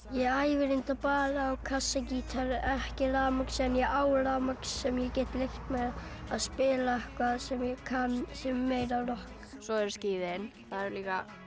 ég æfi reyndar bara á kassagítar ekki rafmagns en ég á rafmagns sem ég get leyft mér að spila eitthvað sem ég kann sem er meira rokk svo eru skíðin það er líka